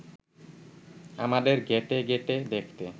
আমাদের ঘেঁটে ঘেঁটে দেখতে